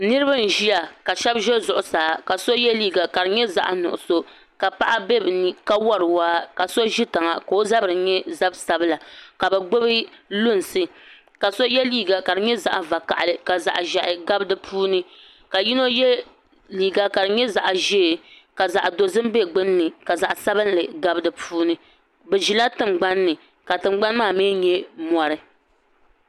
Niraba n ʒiya ka shab ʒi zuɣusaa ka so yɛ liiga ka di nyɛ zaɣ nuɣso ka paɣa bɛ bi ni ka wori waa ka so ʒi tiŋa ka o zabiri nyɛ zab sabila ka bi gbubi lunsi ka so yɛ liiga ka di nyɛ zaɣ vakaɣali ka zaɣ ʒiɛhi gabi di puuni ka yino yɛ liiga ka di nyɛ zaɣ ʒiɛ ka zaɣ dozik bɛ gbunni ka zaɣ sabinli gabi di puuni bi ʒila tingbanni ka tingbani maa mii nyɛ mori